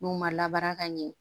N'u ma labaara ka ɲɛ